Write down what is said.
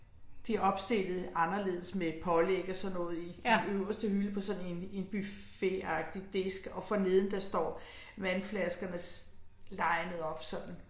Det opstillet anderledes med pålæg og sådan noget i i øverste hylde på sådan en en buffetagtig disk og forneden der står vandflaskernes linet op sådan